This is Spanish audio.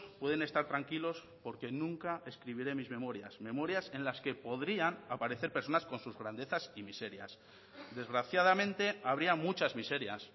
pueden estar tranquilos porque nunca escribiré mis memorias memorias en las que podrían aparecer personas con sus grandezas y miserias desgraciadamente habría muchas miserias